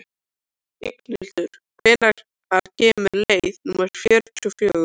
Inghildur, hvenær kemur leið númer fjörutíu og fjögur?